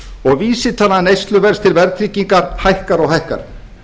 og vísitala neysluverðs til verðtryggingar hækkar og hækkar